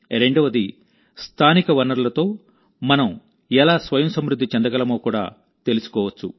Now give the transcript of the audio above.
రెండవదిస్థానిక వనరులతో మనం ఎలా స్వయం సమృద్ధి చెందగలమో కూడా తెలుసుకోవచ్చు